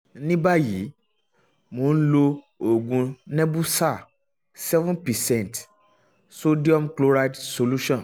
um ní báyìí um mo ń lo oògùn nebusal seven percent sodium chloride solution um